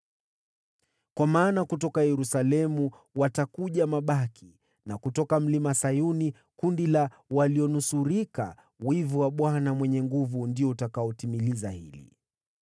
Kwa kuwa kutoka Yerusalemu watakuja mabaki, na kutoka Mlima Sayuni kundi la walionusurika. Wivu wa Bwana Mwenye Nguvu Zote ndio utatimiza jambo hili.